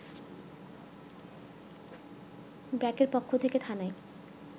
ব্র্যাকের পক্ষ থেকে থানায়